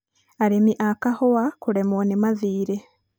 Arĩmi a kahũa kũremwo nĩ mathiirĩ